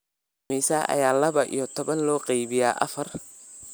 Imisa ayaa laba iyo toban loo qaybiyaa afar?